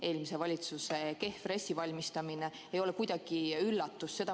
Eelmise valitsuse kehv RES ei ole kuidagi üllatus.